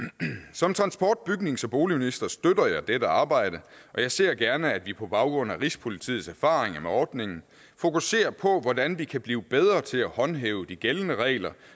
som transport bygnings og boligminister støtter jeg dette arbejde og jeg ser gerne at vi på baggrund af rigspolitiets erfaringer med ordningen fokuserer på hvordan vi kan blive bedre til at håndhæve de gældende regler